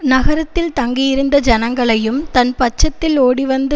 நகரத்தில் தங்கியிருந்த ஜனங்களையும் தன் பட்சத்தில் ஓடிவந்து